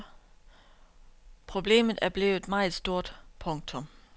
Problemet er blevet meget stort. punktum